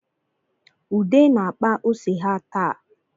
Ude na-akpa ose ha taa